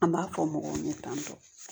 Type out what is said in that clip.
An b'a fɔ mɔgɔw ye tan tɔ